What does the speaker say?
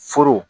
Foro